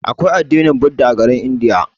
Aƙwai addinin budirci a garin India.